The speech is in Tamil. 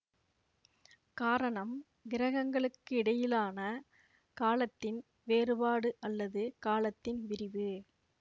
காரணம் கிரகங்களுக்கு இடையிலான காலத்தின் வேறுபாடு அல்லது காலத்தின் விரிவு